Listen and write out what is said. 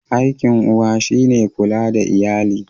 Aikin uwa shi ne kula da iyali.